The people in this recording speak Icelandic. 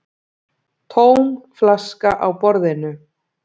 Tóm flaska á borðinu.